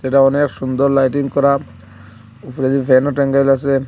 এটা অনেক সুন্দর লাইটিং করা উপরে যে ফ্যানও টাঙাইল আসে।